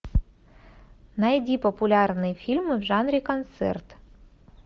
найди популярные фильмы в жанре концерт